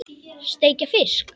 Steikja fisk?